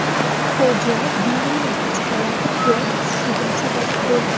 Fojia binoning uch qavati qulab tushishiga sabab bo‘ldi.